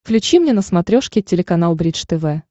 включи мне на смотрешке телеканал бридж тв